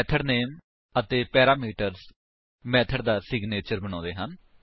method name ਅਤੇ parameters method ਦਾ signature ਬਣਾਉਂਦੇ ਹਨ